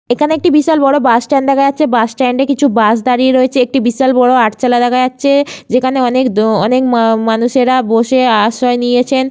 এখানে একটি বিশাল বড় বাসস্ট্যান্ড দেখা যাচ্ছেবাস স্ট্যান্ড এ কিছু বাস দাঁড়িয়ে রয়েছেএকটি বিশাল বড় আটচালা দেখা যাচ্ছে যেখানে অনেক দ অনেক মা- মানুষেরা বসে আশ্রয় নিয়েছেন।